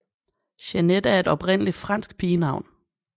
Jeanette er et oprindeligt fransk pigenavn